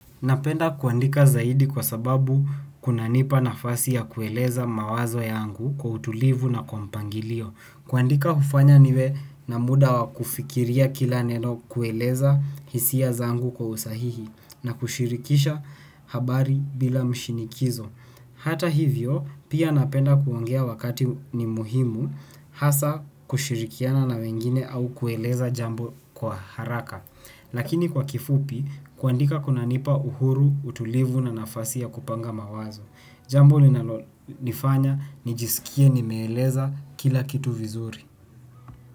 Napenda kuandika zaidi kwa sababu kunanipa nafasi ya kueleza mawazo yangu kwa utulivu na kwa mpangilio. Kuandika hufanya niwe na muda wa kufikiria kila neno, kueleza hisia zangu kwa usahihi na kushirikisha habari bila mshinikizo. Hata hivyo, pia napenda kuongea wakati ni muhimu hasa kushirikiana na wengine au kueleza jambo kwa haraka. Lakini kwa kifupi, kuandika kunanipa uhuru, utulivu na nafasi ya kupanga mawazo. Jambo linalonifanya nijisikie nimeeleza kila kitu vizuri.